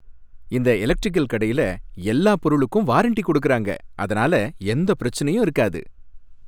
இந்த எலெக்டிரிகல் கடையில எல்லா பொருளுக்கும் வாரண்டி கொடுக்கறாங்க, அதனால எந்தப் பிரச்சனையும் இருக்காது.